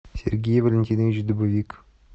сергей валентинович дубовик